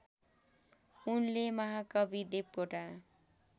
उनले महाकवि देवकोटा